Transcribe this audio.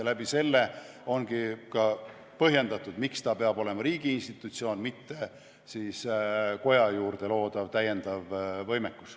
Sellepärast ongi põhjendatud, miks ta peab olema riigi institutsioon, mitte koja juurde loodav lisavõimekus.